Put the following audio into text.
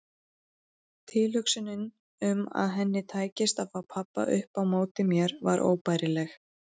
Tilhugsunin um að henni tækist að fá pabba upp á móti mér var óbærileg.